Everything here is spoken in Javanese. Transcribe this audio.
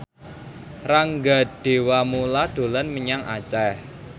Rangga Dewamoela dolan menyang Aceh